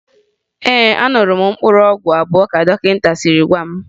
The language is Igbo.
Ee, aṅụrụ m mkpụrụ ọgwụ abụọ ka dọkịta siri gwa m